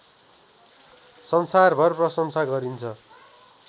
संसारभर प्रसंशा गरिन्छ